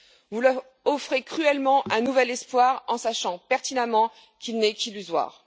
Vous leur offrez cruellement un nouvel espoir en sachant pertinemment qu'il n'est qu'illusoire.